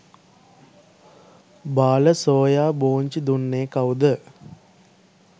බාල සෝයා බෝංචි දුන්නේ කවුද?